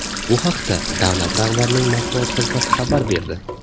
Bu haqda davlat rahbarining matbuot xizmati xabar berdi .